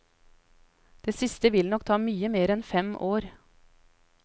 Det siste vil nok ta mye mer enn fem år.